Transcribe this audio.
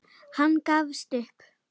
Hann gafst upp.